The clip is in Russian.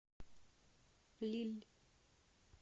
лилль